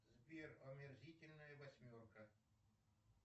сбер омерзительная восьмерка